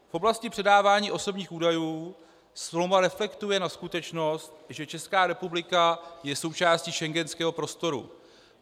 V oblasti předávání osobních údajů smlouva reflektuje na skutečnost, že Česká republika je součástí schengenského prostoru.